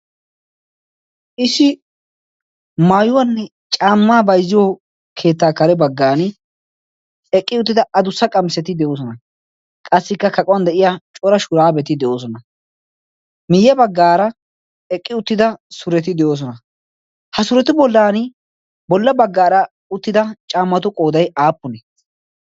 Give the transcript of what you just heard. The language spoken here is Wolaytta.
issi maayuwanne caamaa bayzziyo keettaa kare bagaara eqqi uyyida sureti de'oosonna. ha suretu bolaani bola bagaara eqqi uttida caamatu qooday aapunee?